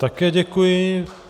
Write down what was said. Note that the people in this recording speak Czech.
Také děkuji.